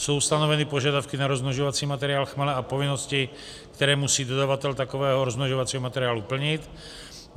Jsou stanoveny požadavky na rozmnožovací materiál chmele a povinnosti, které musí dodavatel takového rozmnožovacího materiálu plnit.